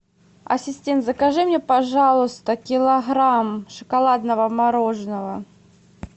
ассистент закажи мне пожалуйста килограмм шоколадного мороженого